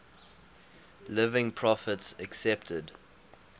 living prophets accepted